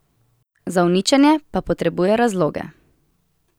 Za uničenje pa potrebuje razloge.